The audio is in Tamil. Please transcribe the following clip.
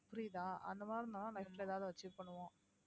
புரியுதா அந்த மாதிரின்னா life ல ஏதாவது achieve பண்ணுவோம்